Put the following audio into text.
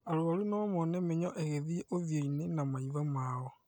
Arwaru nomone mĩnyoo ĩgĩthiĩ ũthiũ-inĩ na maitho mao